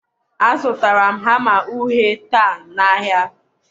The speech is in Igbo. a zụtara m hama uhie taa na ahịa.